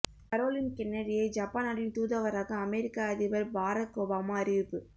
Caroline கென்னடியை Japan நாட்டின் தூதுவராக அமெரிக்க அதிபர் பாரக் ஒபாமா அறிவிப்பு